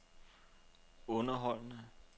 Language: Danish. underholdende